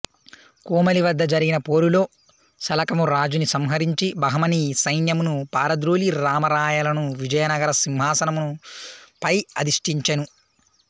కోమలి వద్ద జరిగిన పోరులో సలకము రాజుని సంహరించి బహమనీ సైన్యమును పారద్రోలి రామ రాయలను విజయనగర సింహాసనముపై అధిష్ఠించెను